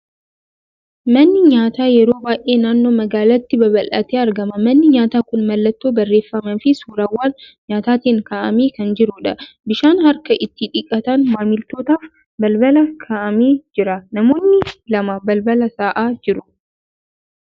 Manni nyaataa yeroo baay'ee naannoo magaalaatti babal'atee argama. Manni nyaataa kun mallattoo barreeffamaa fi suurawwan nyaataatiin kaa'amee kan jirudha. Bishaan harka itti dhiqatan maamiltootaaf balbala kaa'amee jira. Namoonni lama balbala taa'aa jiru.